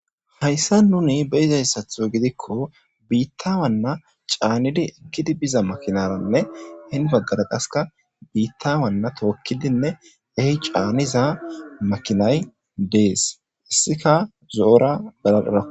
Hayssa nuni be'iza issatho gidikko biittawanna caanidi ekkidi biza makinaranne hinni baggan qassika biitta wanna tookkidinne a caaniza makinay dees. Issika zoora galarakko.